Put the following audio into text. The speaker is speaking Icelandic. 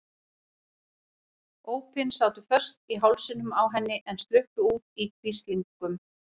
Ópin sátu föst í hálsinum á henni en sluppu út í hvíslingum.